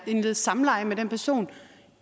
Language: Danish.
og indlede samleje med den person